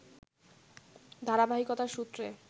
ধারাবাহিকতার সূত্রে